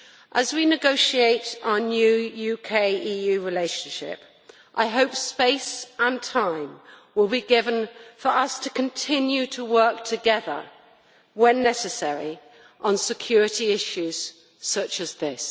As we negotiate our new UK EU relationship, I hope space and time will be given for us to continue to work together, when necessary, on security issues such as this.